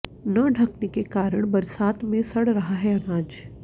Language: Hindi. न ढंकने के कारण बरसात में सड़ रहा है अनाज